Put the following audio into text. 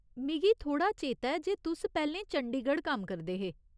मिगी थोह्ड़ा चेता ऐ जे तुस पैह्‌लें चंडीगढ़ कम्म करदे हे।